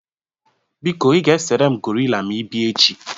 Biko ị ga-esere m gorila ma ị bịa echi